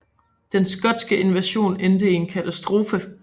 Den skotske invasion endte i en katastrofe